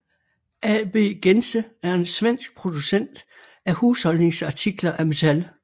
AB Gense er en svensk producent af husholdningsartikler af metal